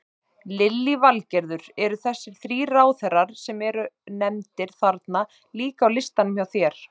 Lillý Valgerður: Eru þessir þrír ráðherrar sem eru nefndir þarna líka á listanum hjá þér?